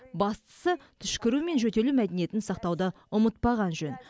бастысы түшкіру мен жөтелу мәдениетін сақтауды ұмытпаған жөн